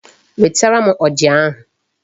Wetere m ọjà ahụ.